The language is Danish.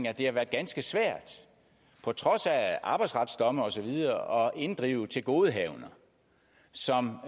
at det har været ganske svært på trods af arbejdsretsdomme og så videre at inddrive tilgodehavender som